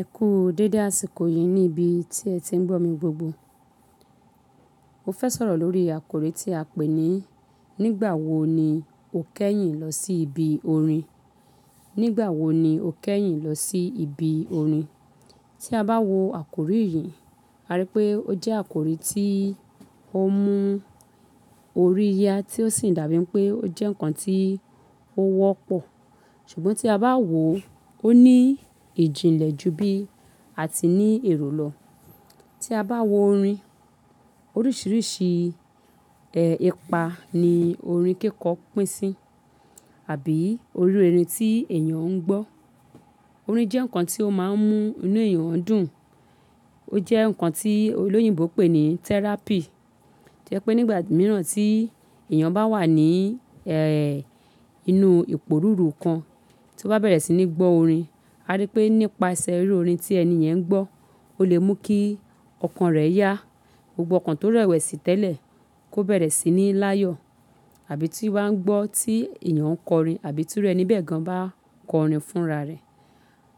Ẹ kú dídá síkò yìí ní ibi tí ẹ ti ń gbọ̀ mí gbogbo. Mo fẹ́ sọ̀rọ̀ lórí àkòrí tí a pè ní "Nígbà wo ni o kẹ́yìn lọ sí ibi orin?" Nígbà wo ni o kẹ́yìn lọ sí ibi orin? Tí a bá wò àkòrí yìí, a rí pé ó jẹ́ àkòrí tí ó ń mú orí yá tí ó sì dàbí pé ó jẹ́ ǹkan tí ó wọ́pọ̀. Ṣùgbọ́n tí a bá wò ó ní ìjìnlẹ̀ jù bí a ti ní èrò lọ. Tí a bá wò orin, oríṣìíríṣìí, ẹ́, ipa ni orin kíkọ pín sí àbí irú orin tí èèyàn ń gbọ́. Orin jẹ́ ǹkan tí ó máa ń mú inú èèyàn dùn. Ó jẹ́ ǹkan tí olóyìnbo pé ní therapy. Jẹ́ pé nígbà mìíràn tí èèyàn bá wà ní, ẹ́, inú ìporuru kan tí ó bá bẹ̀rẹ̀ sí ní gbọ́ orin, a rí pé nípasẹ̀ irú orin tí ẹni yẹn ń gbọ́, ó lè mú kí ọkàn rẹ̀ yá. Gbogbo ọkàn tó rẹ̀wẹ̀sì tẹ́lẹ̀ kó bẹ̀rẹ̀ sí ní láyọ̀. Àbí tí o bá ń gbọ́ tí èèyàn ń kọrin àbí tí ọ̀rẹ́ ni bẹ́ẹ̀ gan bá kọ orin fún ara rẹ.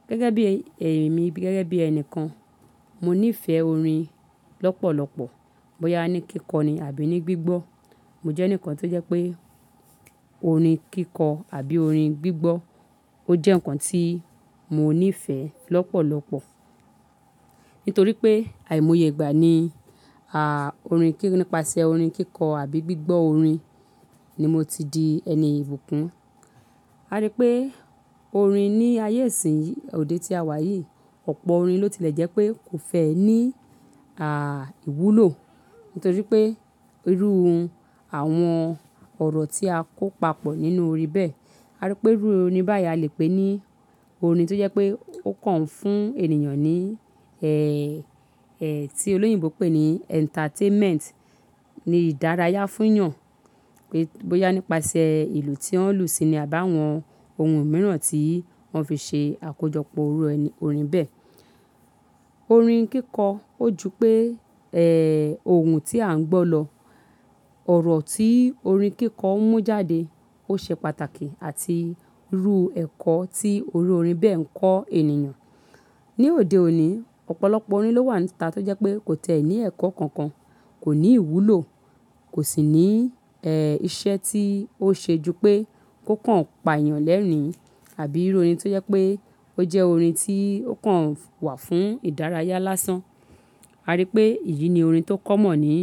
Gẹ́gẹ́ bí ẹ̀mí, gẹ́gẹ́ bí ẹni kan, mo níìfẹ̀ orin lọ́pọ̀lọpọ̀ bóyá ní kíkọ ni àbí ní gbígbọ́. Mo jẹ́ eǹikan tó jẹ́ pé orin kíkọ àbí orin gbígbọ́ ó jẹ́ ǹkan tí mo níìfẹ̀ lọ́pọ̀lọpọ̀. Nítorí pé àìmọye ìgbà ni, a, orin kí-- nípasẹ̀ orin kíkọ àbí gbígbọ́ orin ni mo ti di ẹni ìbùkún. A rí pé orin ní ayé ìsin yìí, òde tí a wà yìí, ọ̀pọ̀ orin ló ti lẹ̀ jẹ́ pé kò fẹ́ ní, a, ìwúlò. Nítorí pé irú àwọn ọ̀rọ̀ tí a kó papọ̀ nínú orin bẹ́ẹ̀. A rí pé irú orin báyìí a lè pè ní orin tó jẹ́ pé ó kàn fún ènìyàn ní, ẹ́, ẹ́, tí olóyìnbo pé ní entertainment, ní ìdárayá fún èèyàn. Pé, bóyá nípasẹ̀ ìlú tí wọ́n ń lù síi ni àbáwọ́n ohun mìíràn tí wọ́n fi ṣe àkójọpọ̀ irú orin bẹ́ẹ̀. Orin kíkọ ó jù pé, ẹ́, ohun tí a ń gbọ́ lọ. Ọ̀rọ̀ tí orin kíkọ ń mú jáde ó ṣe pàtàkì àti rú ẹ̀kọ́ tí irú orin bẹ́ẹ̀ ń kọ́ ènìyàn. Ni òde òní, ọ̀pọ̀lọpọ̀ orin ló wà níta tó jẹ́ pé kò tẹ́ẹ́ ní ẹ̀kọ́ kankan, kò ní ìwúlò, kò sì ní, ẹ́, iṣẹ́ tí ó ṣe jù pé kó kàn pa èèyàn lẹ́rìn-ín. Àbí irú orin tó jẹ́ pé ó jẹ́ orin tí ó kàn wà fún ìdárayá lásán. A rí pé èyí ni orin tó kọ́ mọ̀ ní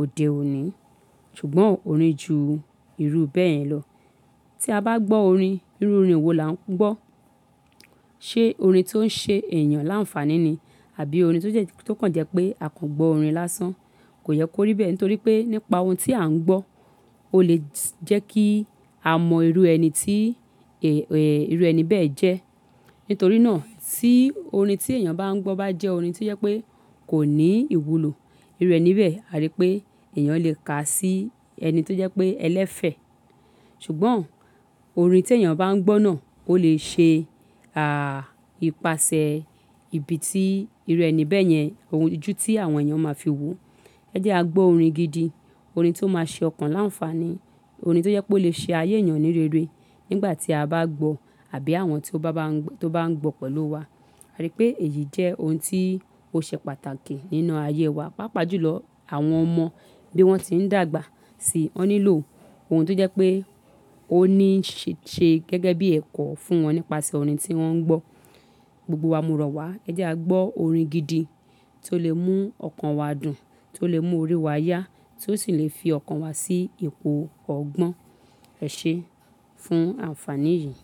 òde òní. Ṣùgbọ́n orin jù irú bẹ́ẹ̀ yẹn lọ. Tí a bá gbọ́ orin, irú orin wo là ń gbọ́? Ṣé orin tó ń ṣe èèyàn láǹfàní ni? Àbí orin tó jẹ́, tó kàn jẹ́ pé a kò gbọ́ orin lásán, kò yẹ kó rí bẹ́ẹ̀? Nítorí pé nípa ohun tí à ń gbọ́ ó lè jẹ́ kí a mọ irú ẹni tí, ẹ, ẹ, irú ẹni bẹ́ẹ̀ jẹ́. Nítorí náà tí orin tí èèyàn bá ń gbọ́ bá jẹ́ orin tó jẹ́ pé kò ní ìwúlò, irú ẹni bẹ́ẹ̀ a rí pé èèyàn lè kà á sí ẹni tó jẹ́ pé ẹlẹ́fẹ̀. Ṣùgbọ́n orin tí èèyàn bá ń gbọ́ náà ó lè ṣe, a, ìpasẹ̀ ibi tí irú ẹni bẹ́ẹ̀ yẹn, ojú tí àwọn èèyàn máa fi wò ó. Ẹ jẹ́ a gbọ́ orin gidi, orin tó máa ṣe ọkàn láǹfàní, orin tó jẹ́ pé ó lè ṣe ayé èèyàn ní rere nígbà tí a bá gbọ́ àbí àwọn tí ó bá, tí ó bá ń gbọ́ pẹ̀lú wa. A rí pé èyí jẹ́ ohun tí ó ṣe pàtàkì nínú ayé wa. Pápá jù lọ àwọn ọmọ bí wọ́n ti ń dàgbà sí i, wọ́n nílò ohun tó jẹ́ pé ó ní ṣe, ṣe gẹ́gẹ́ bí ẹ̀kọ́ fún wọn nípasẹ̀ orin tí wọ́n ń gbọ́. Gbogbo wa mọ̀ ro wá ẹ jẹ́ a gbọ́ orin gidi tó lè mú ọkàn wa dùn, tó lè mú orí wa yá, tó sì lè fi ọkàn wa sí ipò ọ̀gbọn, ẹ ṣe fún àǹfàní yìí.